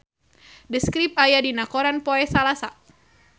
The Script aya dina koran poe Salasa